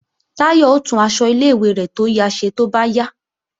Táyọ̀ ó tún aṣọ ilé-ìwé rẹ̀ tó ya ṣe tó bá yá